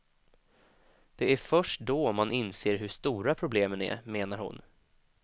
Det är först då man inser hur stora problemen är, menar hon.